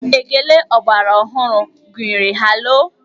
Ékélé ọgbaraọhụrụ gụnyere 'haloo'.